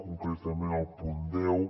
concretament el punt deu